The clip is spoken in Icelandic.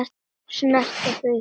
Snerta þig.